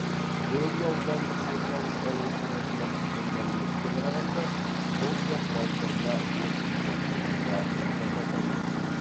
бөрлі аудандық орталық ауруханасынан түскен мәліметке қарағанда сол жақ балтырына оқ тиген тұрғынға ота жасалған